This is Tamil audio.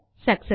சக்செஸ்